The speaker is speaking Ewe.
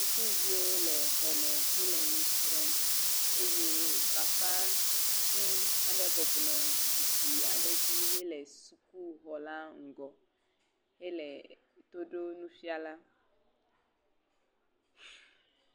Sukuviwo le xɔme hele nu srɔ̃m eye bafãvi aɖe bɔbɔ nɔ zikpi aɖe dzi hele sukuxɔla ŋgɔ hele to ɖo nufiala.